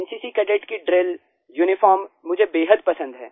NCC cadet की drill uniform मुझे बेहद पसंद है